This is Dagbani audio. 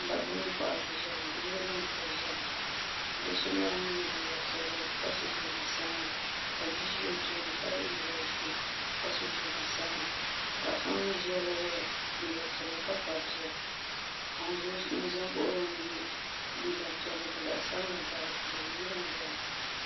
dabba mini paɣiba n-ʒia ŋɔ yili gbubi ka bɛ ʒia ŋɔ do' so nyɛla ŋun ye liiga piɛlli ka so jinjam sabilinli ka bia ʒi o tooni ka ye liiga ʒee ka so jinjam sabilinli paɣa so ŋun mi ʒia la ye liiga piɛlli ka kpabi bia ka ŋun za m-baɣi o la mi ye liiga piɛlli ka zaɣ' sabilinli gabi di puuni yili n-zaya ŋɔ